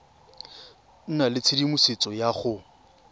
nna le tshedimosetso ya go